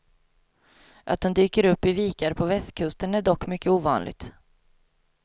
Att de dyker upp i vikar på västkusten är dock mycket ovanligt.